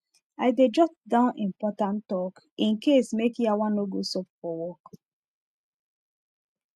i dey jot down important talk in case make yawa no go sup for work